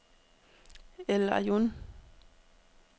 El Aiun